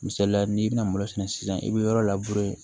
Misaliya n'i bɛna malo sɛnɛ sisan i bɛ yɔrɔ labure